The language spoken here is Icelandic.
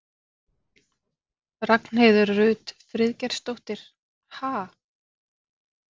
Ragnheiður Rut Friðgeirsdóttir: Ha?